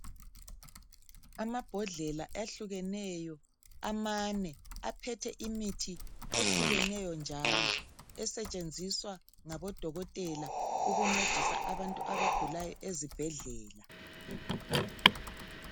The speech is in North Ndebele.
Amabhodlela ehlukeneyo, amane. Aphethe imithi ehlukeneyo njalo. Esetshenziswa ngabodokotela, ukuncedisa abantu abagulayo, ezibhedlela.